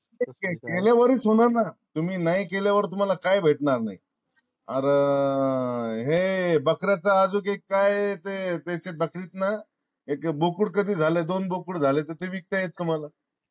केल्या वारीच होणार ना? तुम्ही नाय केल्या वर तुम्हाला काय भेटणार नाही. आर हे बकऱ्याचा आजूक एक काय ते बकरीच एक बोकुड कधी झाल दोन बोकुड झाले ना ते विकत येईल तुम्हाला.